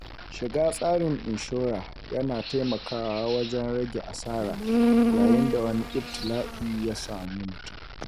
Shiga tsarin inshora ya na taimakawa wajen rage asara yayin da wani ibtila'i ya samu mutum.